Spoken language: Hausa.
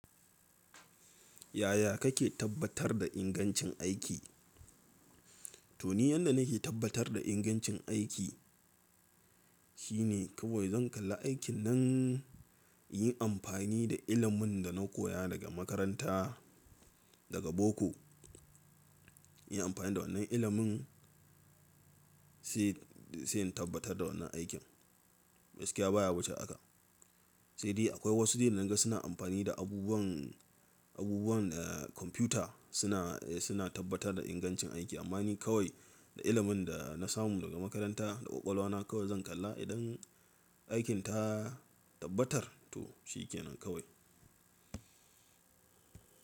Yaya kake tabbatar da ingancin aiki? To ni yanda nake tabbatar da ingancin aiki shine kawai zan kalla aikin nan, yin amfani da ilimin da na koya daga makaranta, daga boko. Yin amfani da wannan ilimin sai, sai in tabbatar da wannan aikin. Gaskiya baya wuce haka. Sai dai akwai wasu da naga suna amfani da abubuwan, abubuwan eh computer suna, suna tabbatar da ingancin aiki amma ni kawai da ilimin da na samu daga makaranta da ƙwaƙwalwana kawai zan kalla idan aikin ta tabbatar to shikenan kawai.